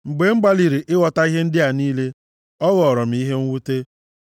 Mgbe m gbalịrị ịghọta ihe ndị a niile, ọ ghọọrọ m ihe mwute,